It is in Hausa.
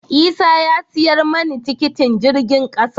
Isah ya siyar mani tikitin jirgin kasa.